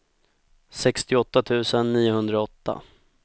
sextioåtta tusen niohundraåtta